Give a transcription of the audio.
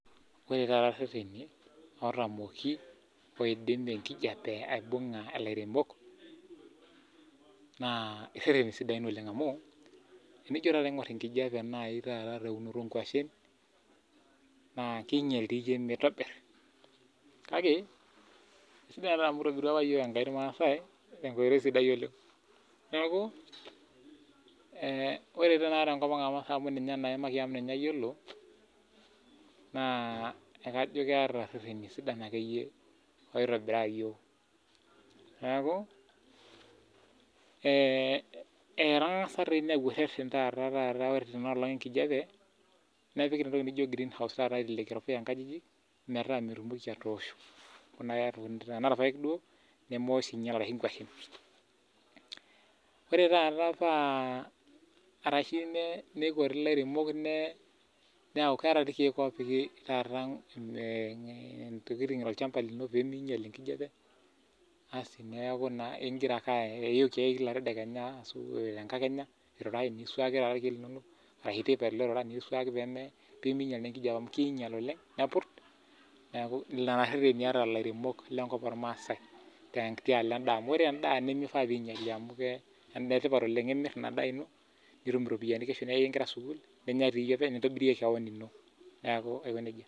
ore taata irereni ootamoki oidim enkijape aibung'a ilairemok naa irereni sidain oleng' amu tinijo taata aing'or erereni sidain anaa teunoto oo inkuashen naa king'ial dii ilkeek, sidai taa amu itobirua apa enkai ilmaasai tenkoitoi sidai oleng' neeku ore naa tenkop ang' amu ninye naa aimaki amu ninye ayiolo, naa akajo keeta irereni akeyie siidain amu etang'asa apik ilpuyai kulo legreen house pee mewosh enkolong' ore taata ,naa keetae ilkeek loo piki ilairemok olchamba lino pee ming'ial enkijape asi neeku iyioki ake kila tedekenya niswaki pee, ming'ial enkijape neeku lelo rereni etaa iltung'anak.